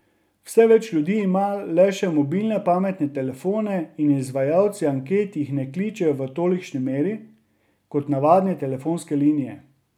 Vse več ljudi ima le še mobilne pametne telefone in izvajalci anket jih ne kličejo v tolikšni meri, kot navadne telefonske linije.